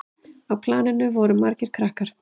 Á planinu voru margir krakkar.